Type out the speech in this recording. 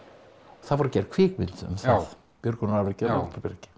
það var gerð kvikmynd um það björgunarafrekið á Látrabjargi